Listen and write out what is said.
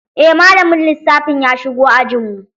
Eh malamin lissafin ya shigo ajn mu.